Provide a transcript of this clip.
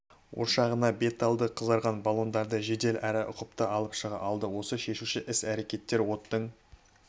ошағына бет алды қызарған баллондарды жедел және ұқыпты алып шыға алды осы шешуші іс-әрекеттер оттың